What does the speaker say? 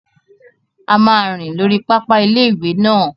A máa rìn lórí pápá ilé-ìwé náà